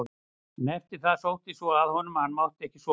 En eftir það sótti svo að honum að hann mátti ekki sofa.